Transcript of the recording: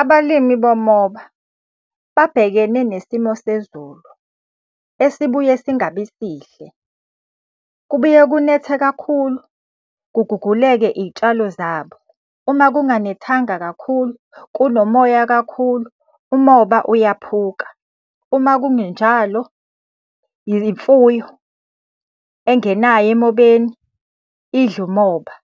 Abalimi bomoba babhekene nesimo sezulu esibuye singabi sihle. Kubuye kunethe kakhulu kuguguleke iy'tshalo zabo. Uma kunganethanga kakhulu, kunomoya kakhulu, umoba uyaphuka, uma kungenjalo imfuyo, engenayo emobeni idle umoba.